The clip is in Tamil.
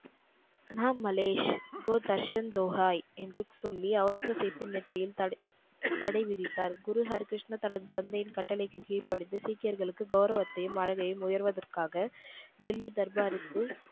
என்று சொல்லி ஒளரங்கசீப்பின் நெற்றியில் தட தடைவிதித்தார். குரு ஹரிகிருஷ்ணர் தனது தந்தையின் கட்டளைக்கு கீழ்ப்படிந்து சீக்கியர்களுக்கு கௌரவத்தையும் வாழ்வில் உயர்வதற்காக டெல்லி தர்பாருக்கு,